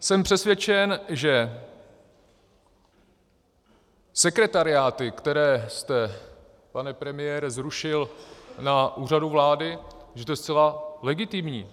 Jsem přesvědčen, že sekretariáty, které jste, pane premiére, zrušil na Úřadu vlády, že to je zcela legitimní.